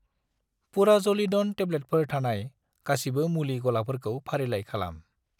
पुराज'लिदन टेब्लेटफोर थानाय गासिबो मुलि गलाफोरखौ फारिलाइ खालाम।